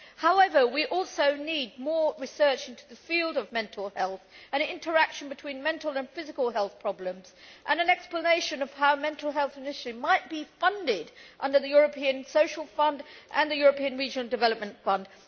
However, we also need more research into the field of mental health and the interaction between mental and physical health problems, and an explanation of how mental health initiatives might be funded under the European Social Fund and the European Regional Development Fund.